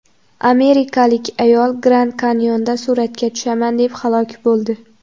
Amerikalik ayol Grand-Kanyonda suratga tushaman deb halok bo‘ldi.